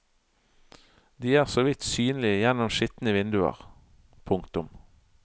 De er så vidt synlige gjennom skitne vinduer. punktum